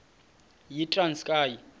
yitranskayi